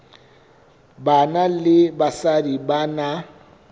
banna le basadi ba na